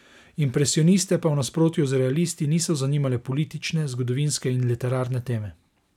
Impresioniste pa v nasprotju z realisti niso zanimale politične, zgodovinske in literarne teme.